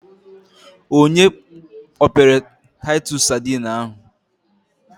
Onye kpọpere taitus sadine ahụ?